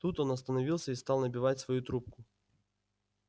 тут он остановился и стал набивать свою трубку